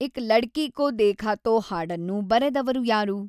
ಏಕ್‌ ಲಡ್ಕೀ ಕೊ ದೇಖಾ ತೊ ಹಾಡನ್ನು ಬರೆದವರು ಯಾರು